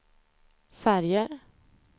färger